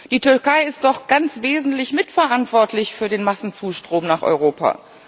Die Türkei ist doch ganz wesentlich mitverantwortlich für den Massenzustrom nach Europa.